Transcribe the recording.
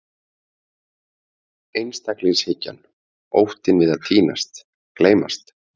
Einstaklingshyggjan, óttinn við að týnast, gleymast.